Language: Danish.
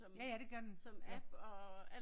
Ja ja det gør den